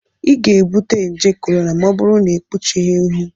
ị ga-ebute nje korona ma ọ bụrụ na ịkpuchighị ihu